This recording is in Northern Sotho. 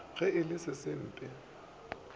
ge e le se sempe